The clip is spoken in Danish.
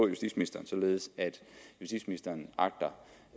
justitsministeren således at justitsministeren agter